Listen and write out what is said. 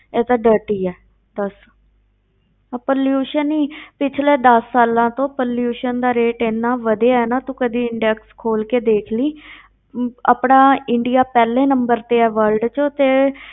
ਇਹ ਤਾਂ dirty ਹੈ, ਦੱਸ ਆਹ pollution ਹੀ ਪਿੱਛਲੇ ਦਸ ਸਾਲਾਂ ਤੋਂ pollution ਦਾ rate ਇੰਨਾ ਵਧਿਆ ਹੈ ਨਾ ਤੂੰ ਕਦੇ index ਖੋਲ ਕੇ ਦੇਖ ਲਈਂ ਆਪਣਾ ਇੰਡੀਆ ਪਹਿਲੇ number ਤੇ ਆ world ਵਿੱਚ ਤੇ ਐ dirty ਹੈ